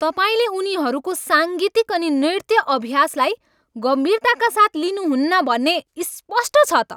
तपाईँले उनीहरूको साङ्गीतिक अनि नृत्य अभ्यासलाई गम्भीरताका साथ लिनुहुन्न भन्ने स्पष्ट छ त।